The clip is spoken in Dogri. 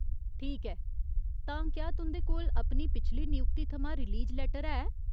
ठीक ऐ, तां क्या तुं'दे कोल अपनी पिछली नियुक्ती थमां रिलीज लेटर है ?